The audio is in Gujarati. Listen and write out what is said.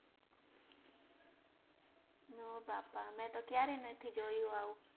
ઓ બાપા મેતો ક્યારે નથી જોયું આવું